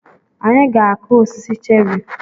Anyị ga-akụ osisi cherị.